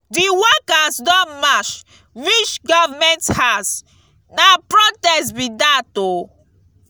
di workers don march reach government house na protest be dat o.